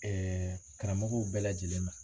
karamɔgɔw bɛɛ lajɛlen ma.